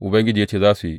Ubangiji ya ce, Za su yi.